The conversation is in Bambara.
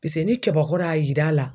Paseke ni kɛbakɔrɔ y'a yir'a la